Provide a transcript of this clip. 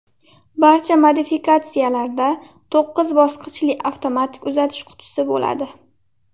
Barcha modifikatsiyalarda to‘qqiz bosqichli avtomatik uzatish qutisi bo‘ladi.